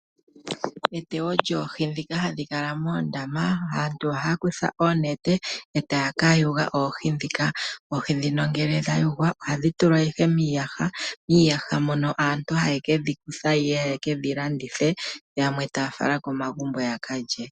Metewo lyoohi dhino hadhikala moondama aantu Ohaya kutha oonete yakakwatemo oohi dhika moka hayedhitula miiyaha opo yakalandithe nenge yakalye